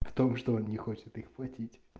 в том что он не хочет их платить